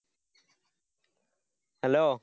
Hello